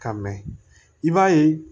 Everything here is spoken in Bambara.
Ka mɛ i b'a ye